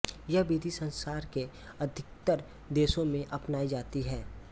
यह विधि संसार के अधिकतर देशों में अपनाई जाती है